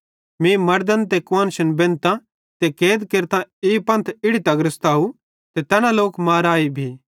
मीं मड़दन ते कुआन्शन बेंधतां ते कैद केरतां ई पंथ इड़ी तगर सताए ते तैना माराए भी